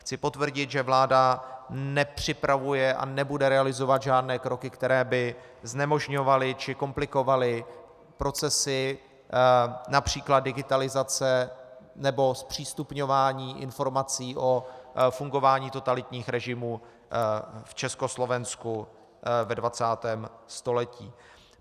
Chci potvrdit, že vláda nepřipravuje a nebude realizovat žádné kroky, které by znemožňovaly či komplikovaly procesy, například digitalizace nebo zpřístupňování informací o fungování totalitních režimů v Československu ve 20. století.